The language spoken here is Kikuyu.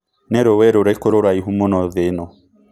Nĩ rũi rũrikũ rũraihu mũno thĩ ĩno